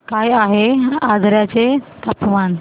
काय आहे आजर्याचे तापमान